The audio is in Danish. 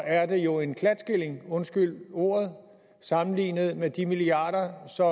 er det jo en klatskilling undskyld ordet sammenlignet med de milliarder som